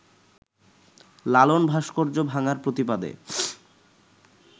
লালন ভাস্কর্য ভাঙার প্রতিবাদে